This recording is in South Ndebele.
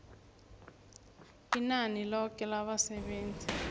inani loke labasebenzi